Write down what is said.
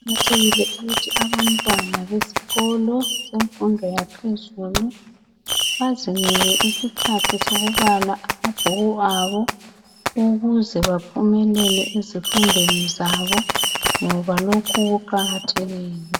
kuqakathekile ukuthi abantwana besikolo semfundo yaphezulu bazinike isikhathi sokubala amabhuku abo ukuze baphumelele ezifundweni zabo ngoba lokhu kuqakathekile